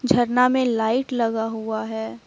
झरना में लाइट लगा हुआ है।